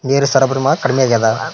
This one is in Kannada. ನೀರ್ ಸಬರ ಮ ಕಡಿಮೆ ಆಗ್ಯದ.